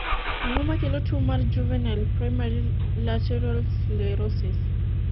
ang'o makelo tuo mar juvenile primary lateral sclerosis?